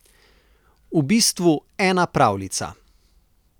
V bistvu ena pravljica.